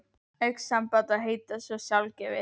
Augnsamband á að heita svo sjálfgefið.